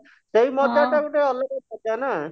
ସେଇ ମଜା ଟା ଗୋଟେ ଅଲଗା ମଜା ନା